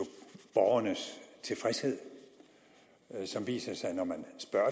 borgernes tilfredshed som viser sig når man spørger